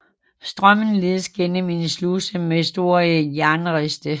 Strømmen ledes gennem en sluse med store jernriste